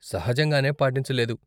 సహజంగానే పాటించలేదు.